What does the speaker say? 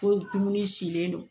Ko dumuni silen don